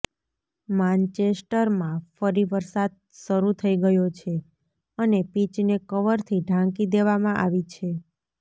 માન્ચેસ્ટરમાં ફરી વરસાદ શરૂ થઈ ગયો છે અને પિચને કવરથી ઢાંકી દેવામાં આવી છે